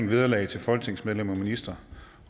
vederlag til folketingsmedlemmer og ministre